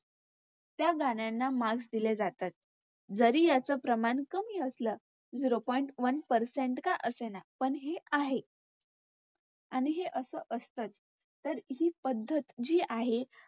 त्या गाण्यांना Marks दिले जातात. जरी याच प्रमाण कमी असलं. Zero point one percent का असेना पण हि आहे आणि हे असं असतंच. तर हि पद्धत जी आहे